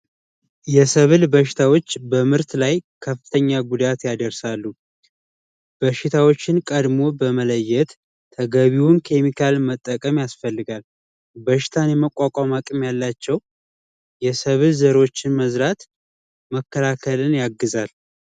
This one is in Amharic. የሰበል በሽታዎች በምርት ላይ ከፍተኛ ጉዳት ያደርሳሉ በሽታዎችን ቀድሞ በመለየት ተገቢውን ከሚካኤል መጠቀም ያስፈልጋል በሽታን የመቋቋም አቅም ያላቸው ዘሮችን መዝራት መከላከልን ያግዛል